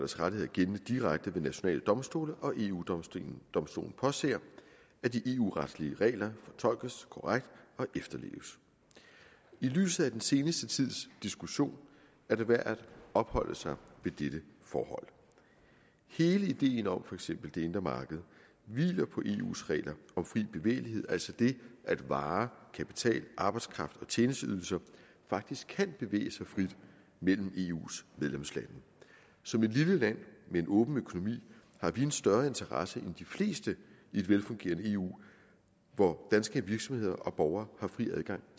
rettigheder gældende direkte ved nationale domstole og eu domstolen påser at de eu retslige regler fortolkes korrekt og efterleves i lyset af den seneste tids diskussion er det værd at opholde sig ved dette forhold hele ideen om for eksempel det indre marked hviler på eus regler om fri bevægelighed altså det at varer kapital arbejdskraft og tjenesteydelser faktisk kan bevæge sig frit mellem eus medlemslande som et lille land med en åben økonomi har vi en større interesse end de fleste i et velfungerende eu hvor danske virksomheder og borgere har fri adgang